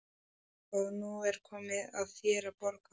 Og nú er komið að þér að borga.